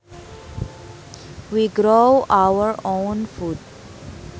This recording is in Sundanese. We grow our own food